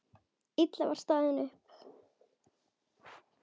Lilla var staðin upp.